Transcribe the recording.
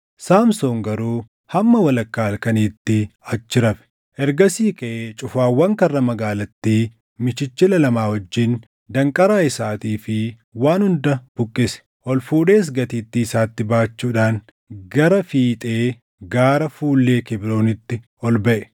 Saamsoon garuu hamma walakkaa halkaniitti achi rafe. Ergasii kaʼee cufaawwan karra magaalattii michichila lama wajjin, danqaraa isaatii fi waan hunda buqqise. Ol fuudhees gatiittii isatti baachuudhaan gara fiixee gaara fuullee Kebroonitti ol baʼe.